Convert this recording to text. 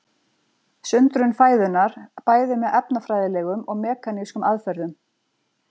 Sundrun fæðunnar bæði með efnafræðilegum og mekanískum aðferðum.